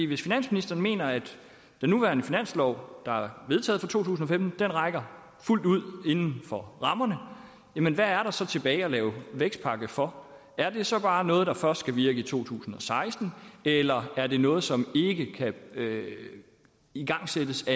hvis finansministeren mener at den nuværende finanslov der er vedtaget for to tusind og femten rækker fuldt ud inden for rammerne hvad er der så tilbage at lave vækstpakke for er det så bare noget der først skal virke i to tusind og seksten eller er det noget som ikke kan igangsættes